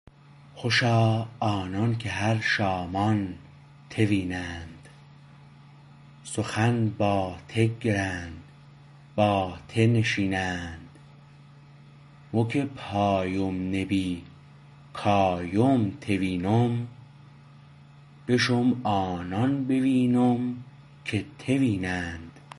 خوشا آنانکه هر شامان ته وینند سخن با ته گرند با ته نشینند مو که پایم نبی کایم ته وینم بشم آنان بوینم که ته وینند